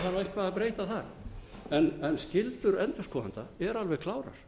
það auðvitað þarf eitthvað að breyta þar en skyldur endurskoðenda eru alveg klárar